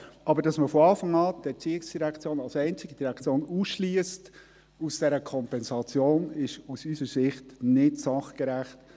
Aber dass man die ERZ von Anfang an als einzige Direktion aus dieser Kompensation ausschliesst, ist aus unserer Sicht nicht sachgerecht.